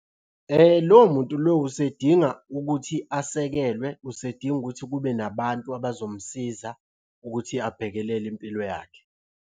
Lowo muntu lowo usedinga ukuthi asekelwe, usedinga ukuthi kube nabantu abazomsiza ukuthi abhekelele impilo yakhe.